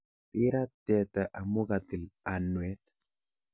Birat teta amu katil anwet.